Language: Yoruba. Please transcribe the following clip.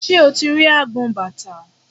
Ṣé o ti rí agbọn bàtà?